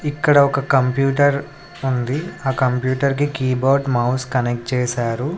ఇక్కడ ఒక కంప్యూటర్ ఉంది ఆ కంప్యూటర్ కి కీబోర్డ్ మౌస్ కనెక్ట్ చేశారు.